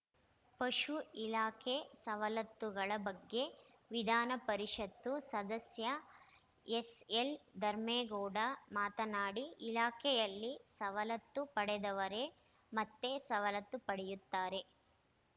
ಪಶು ಇಲಾಖೆ ಸವಲತ್ತುಗಳ ಬಗ್ಗೆ ವಿಧಾನಪರಿಷತ್ತು ಸದಸ್ಯ ಎಸ್‌ಎಲ್‌ ಧರ್ಮೇಗೌಡ ಮಾತನಾಡಿ ಇಲಾಖೆಯಲ್ಲಿ ಸವಲತ್ತು ಪಡೆದವರೆ ಮತ್ತೆ ಸವಲತ್ತು ಪಡೆಯುತ್ತಾರೆ